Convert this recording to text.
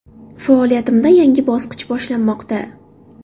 Faoliyatimda yangi bosqich boshlanmoqda.